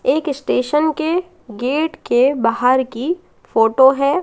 एक स्टेशन के गेट के बाहर की फोटो है।